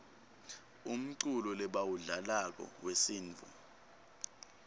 umculo lebawudlalako wesintfu